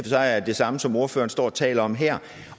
sig er det samme som det ordføreren står og taler om her